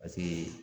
Paseke